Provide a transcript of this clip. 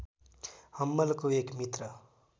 हम्मलको एक मित्र